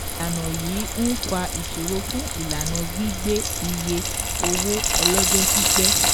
Ìlànà yìí ń fa ìṣòro fún ìlànà gbígbé iye owó ọlọ́jọ́ pípẹ́.